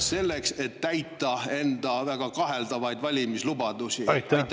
… selleks et täita teie enda väga kaheldavaid valimislubadusi?